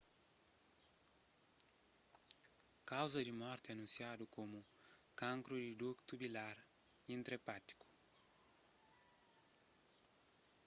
kauza di morti anunsiadu komu kankru di duktu bilar intra-epátiku